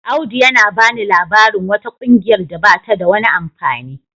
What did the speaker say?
Audu yana bani labarin wata kungiyar da bata da wani amfani.